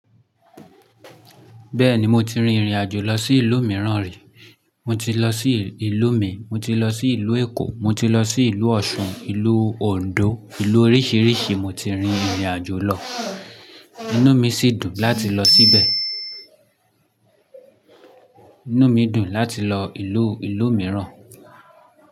Bẹ́ẹ̀ni mo ti rin ìrìn àjò lọ sí ìlú mìíràn rí. Mo ti lọ sí ìlú mi, mo ti lọ sí ìlú Èkó, mo ti lọ sí ìlú Ọ̀ṣun, ìlú Òǹdó, ìlú oríṣìíríṣìí mo ti rin ìrìn àjò lọ. Inú mi sì dùn láti lọ síbẹ̀. Inú mi dùn láti lọ ìlú, ìlú mìíràn.